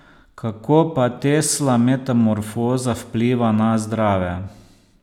Kako pa Tesla metamorfoza vpliva na zdrave?